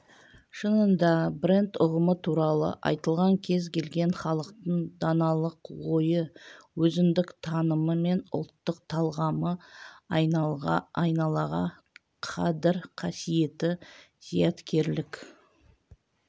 шынында бренд ұғымы туралы айтылғанда кез келген халықтың даналық ойы өзіндік танымы мен ұлттық талғамы айналаға қадір-қасиеті зияткерлік